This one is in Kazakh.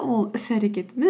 ол іс әрекетіміз